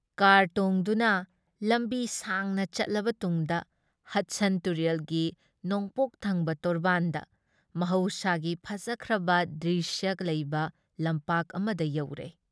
Car ꯇꯣꯡꯗꯨꯅ ꯂꯝꯕꯤ ꯁꯥꯡꯅ ꯆꯠꯂꯕ ꯇꯨꯡꯗ ꯍꯗꯁꯟ ꯇꯨꯔꯦꯜꯒꯤ ꯅꯣꯡꯄꯣꯛꯊꯪꯕ ꯇꯣꯔꯕꯥꯟꯗ ꯃꯍꯧꯁꯥꯒꯤ ꯐꯖꯈ꯭ꯔꯕ ꯗ꯭ꯔꯤꯁ꯭ꯌ ꯂꯩꯕ ꯂꯝꯄꯥꯛ ꯑꯃꯗ ꯌꯧꯔꯦ ꯫